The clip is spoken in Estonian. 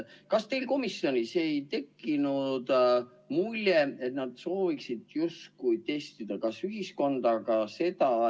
Kas teil komisjonis ei tekkinud muljet, et nad sooviksid justkui testida ühiskonda?